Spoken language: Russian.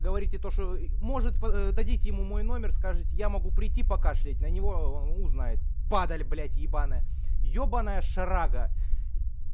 говорите то что может дадите ему мой номер скажите я могу прийти покашлять на него узнает падали блять ебанная ёбанная шарага